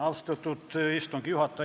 Austatud istungi juhataja!